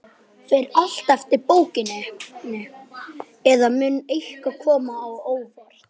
Fer allt eftir bókinni, eða mun eitthvað koma á óvart?